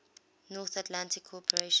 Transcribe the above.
north atlantic cooperation